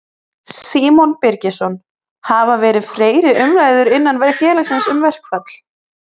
Símon Birgisson: Hafa verið umræður innan félagsins um verkfall?